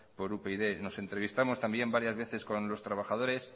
por upyd nos entrevistamos también varias veces con los trabajadores